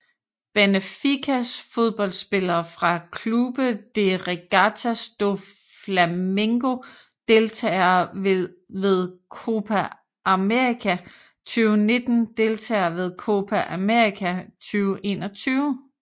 Benfica Fodboldspillere fra Clube de Regatas do Flamengo Deltagere ved Copa América 2019 Deltagere ved Copa América 2021